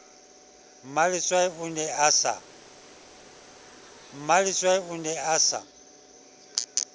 mmaletswai o ne a sa